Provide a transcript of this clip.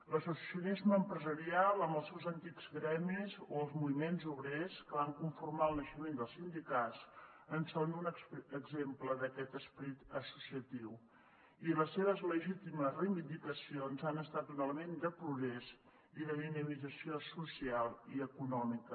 l’associacionisme empresarial amb els seus antics gremis o els moviments obrers que van conformar el naixement dels sindicats en són un exemple d’aquest esperit associatiu i les seves legítimes reivindicacions han estat un element de progrés i de dinamització social i econòmica